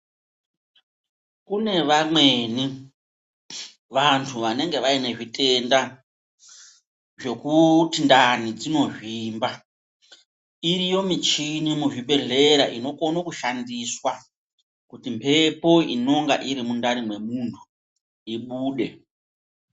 Kune vamweni vantu vanenge vaine zvitenda zvokuti ndani dzinozvimba. Iriyo michini muzvibhedhlera inokone kushandiswa kuti mbepo inonga irimundani memunhu ibude.